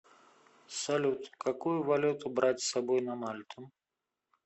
салют какую валюту брать с собой на мальту